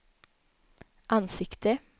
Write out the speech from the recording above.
ansikte